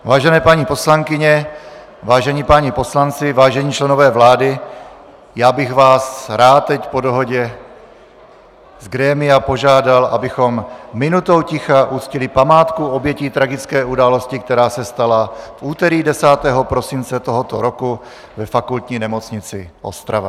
Vážené paní poslankyně, vážení páni poslanci, vážení členové vlády, já bych vás rád teď po dohodě z grémia požádal, abychom minutou ticha uctili památku obětí tragické události, která se stala v úterý 10. prosince tohoto roku ve Fakultní nemocnici Ostrava.